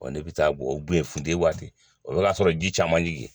Ɔ ne bɛ taa bɔ funtɛni waati o y'a sɔrɔ ji caman jginna.